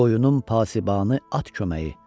Qoyunum pasibanı at köməyi.